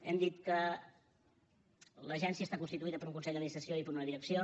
hem dit que l’agència està constituïda per un consell d’administració i per una direcció